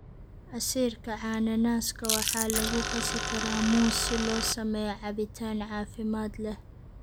Casiirka cananaaska waxaa lagu qasi karaa muus si loo sameeyo cabitaan caafimaad leh.